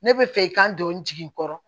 Ne bɛ fɛ ka don n jigikɔrɔ